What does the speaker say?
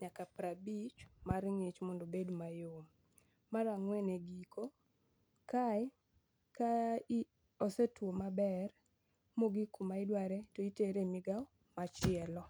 nyaka prabich mar ng'ich mondo obed mayom. Mar ang'wen e giko, kae ka osetwo maber mogik kuma idware titere e migao machielo.